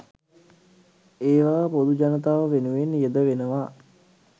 ඒවා පොදු ජනතාව වෙනුවෙන් යෙදවෙනවා.